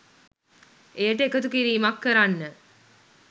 එයට එකතු කිරීමක් කරන්න